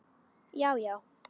já já